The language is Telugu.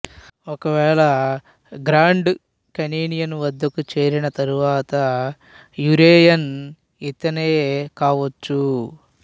ఒకవేళ గ్రాండ్ కేనియన్ వద్దకు చేరిన తరువాత యురేయన్ ఇతడే కావచ్చు